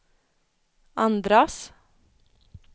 andras